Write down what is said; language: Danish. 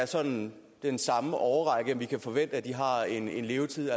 sådan er den samme årrække vi kan forvente at det har en en levetid